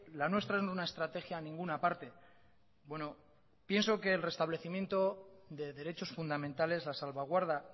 la nuestra es una estrategia a ninguna parte bueno pienso que el restablecimiento de derechos fundamentales la salvaguarda